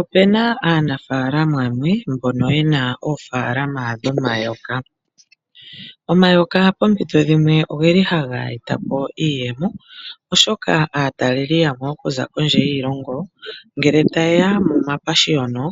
Ope na aanafaalama yamwe mbono ye na oofaalama dhomayoka. Omayoka pompito dhimwe ohaga eta po iiyemo, oshoka aatalelipo yamwe ya za kondje yiilongo ngele taye ya momapashiyino,